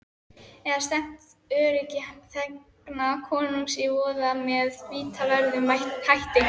Eða stefnt öryggi þegna konungs í voða með vítaverðum hætti.